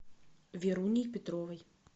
веруней петровой